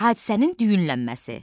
Hadisənin düyünlənməsi.